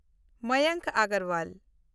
Mayank Agarwal